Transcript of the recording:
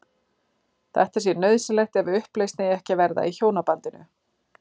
Þetta sé nauðsynlegt ef upplausn eigi ekki að verða í hjónabandinu.